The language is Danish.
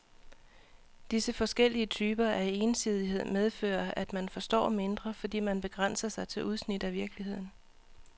Disse forskellige typer af ensidighed medfører, at man forstår mindre, fordi man begrænser sig til udsnit af virkeligheden.